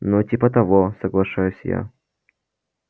ну типа того соглашаюсь я